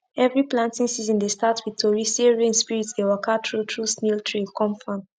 every planting season dey start with tori say rain spirit dey waka through through snail trail come farm